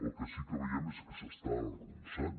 el que sí que veiem és que s’està arronsant